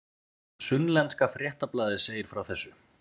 Sunnlenska fréttablaðið segir frá þessu